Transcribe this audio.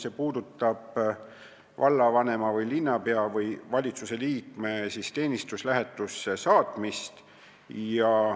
See puudutab vallavanema või linnapea või valitsuse liikme teenistuslähetusse saatmist.